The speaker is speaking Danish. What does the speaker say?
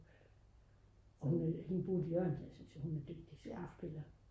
og hende Bodil Jørgensen jeg synes jo hun er dygtig skuespiller